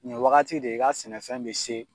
Nin wagati de i ka sɛnɛfɛn bɛ se.